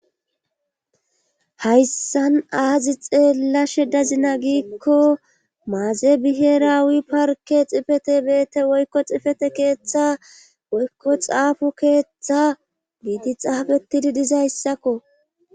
hayssan aazi xeella she dazina giikko maazebiheeraawi parke xifete beete woykko xifete keeththa woykko xaafo keeththa giidi xaafetidi dizayssakko